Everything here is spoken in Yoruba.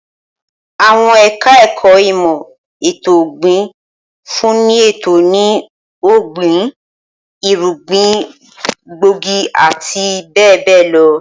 Awọn eka-eko imo eto-ògbìn nfun eto ni ogbin, irugbin gbóògì ati be be lo